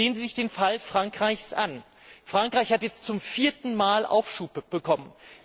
Sehen Sie sich den Fall Frankreichs an Frankreich hat jetzt zum vierten Mal Aufschub bekommen.